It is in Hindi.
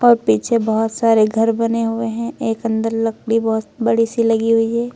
और पीछे बहुत सारे घर बने हुए हैं एक अंदर लकड़ी बहुत बड़ी सी लगी हुई है।